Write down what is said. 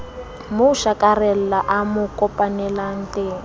mo shakarela a mo kopamolaleng